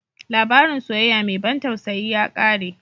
Labarin soyayya mai ban tausayi ya ƙare.